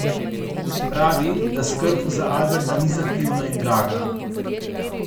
Pravi, da skrb za Alberta ni zahtevna in draga.